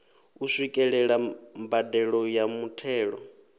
u swikelela mbadelo ya muthelo